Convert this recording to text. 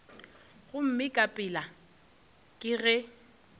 gomme ka pela ke ge